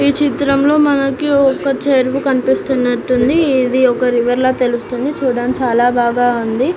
ఈ చిత్రంలో మనకు ఒక చెరువు కనిపిస్తున్నట్టు ఉంది. ఇది మనకు ఒక రివర్ లాగా తెలుస్తుంది చూడడానికి చాల బాగా ఉంది.